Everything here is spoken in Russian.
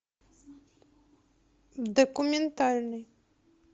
документальный